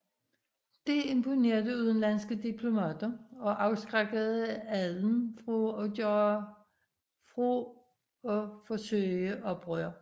Det imponerede udenlandske diplomater og afskrækkede adelen fra at forsøge oprør